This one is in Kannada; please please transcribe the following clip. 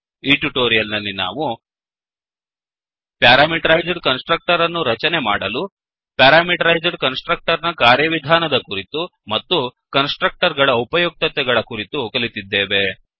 ಈ ಟ್ಯುಟೋರಿಯಲ್ ನಲ್ಲಿ ನಾವು ಪ್ಯಾರಾಮೀಟರೈಜ್ಡ್ ಕನ್ಸ್ ಟ್ರಕ್ಟರ್ ಅನ್ನು ರಚನೆ ಮಾಡಲು ಪ್ಯಾರಾಮೀಟರೈಜ್ಡ್ ಕನ್ಸ್ ಟ್ರಕ್ಟರ್ ನ ಕಾರ್ಯ ವಿಧಾನದ ಕುರಿತು ಮತ್ತು ಕನ್ಸ್ ಟ್ರಕ್ಟರ್ ಗಳ ಉಪಯುಕ್ತತೆ ಗಳ ಕುರಿತು ಕಲಿತಿದ್ದೇವೆ